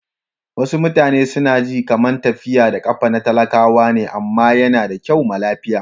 Wasu mutane su na ji kaman tafiya da kafa na talakawa ne amma ya na da kyau ma lafiya.